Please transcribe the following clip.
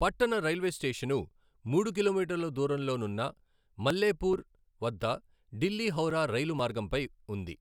పట్టణ railway station మూడు కిలోమీటర్ల దూరంలో నున్న మల్లేపూర్ వద్ద ఢిల్లీ హౌరా రైలు మార్గంపై ఉంది.